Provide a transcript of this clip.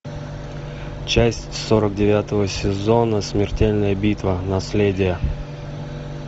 часть сорок девятого сезона смертельная битва наследие